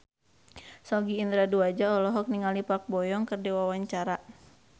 Sogi Indra Duaja olohok ningali Park Bo Yung keur diwawancara